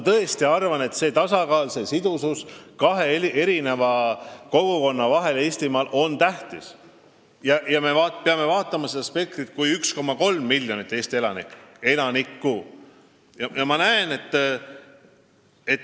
Tasakaal ja sidusus kahe kogukonna vahel on tähtis ja me peame seda vaatama 1,3 miljoni Eesti elaniku spektrist.